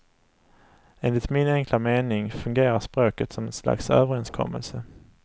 Enligt min enkla mening fungerar språket som ett slags överenskommelse.